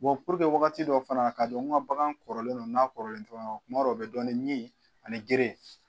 wagati dɔ fana ka dɔn n ka bagan kɔrɔlen do n'a kɔrɔlen tɛ ɲɔgɔn kan kuma dɔ o bɛ dɔn ni geren